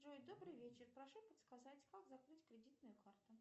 джой добрый вечер прошу подсказать как закрыть кредитную карту